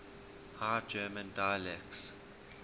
high german dialects